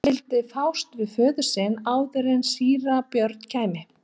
Hann vildi fást við föður sinn áður en síra Björn kæmi.